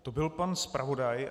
To byl pan zpravodaj.